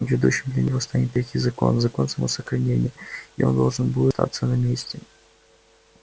ведущим для него станет третий закон закон самосохранения и он должен будет остаться на месте